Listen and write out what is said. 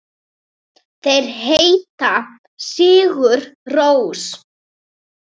Þeir heita Sigur Rós.